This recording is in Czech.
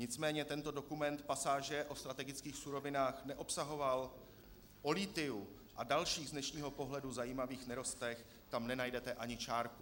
Nicméně tento dokument pasáže o strategických surovinách neobsahoval, o lithiu a dalších z dnešního pohledu zajímavých nerostech tam nenajdete ani čárku.